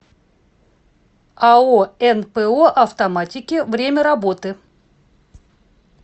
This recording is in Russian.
ао нпо автоматики время работы